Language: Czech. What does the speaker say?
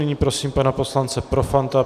Nyní prosím pana poslance Profanta.